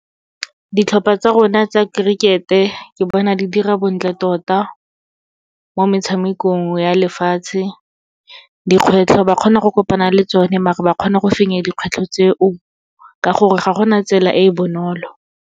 Ditlhopha tsa rona tsa cricket-e ke bona di dira bontle tota, mo metshamekong ya lefatshe. Dikgwetlho ba kgona go kopana le tsone, maar-e ba kgona go fenya dikgwetlho tseo ka gore ga gona tsela e e bonolo.